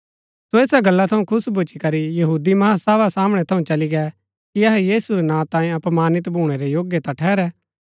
सो ऐसा गल्ला थऊँ खुश भूच्ची करी महासभा रै सामणै थऊँ चली गै कि अहै यीशु नां तांयें अपमानित भूणै रै योग्य ता ठहरै